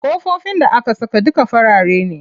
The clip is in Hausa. Ƙofofin da aka saka duka farare ne.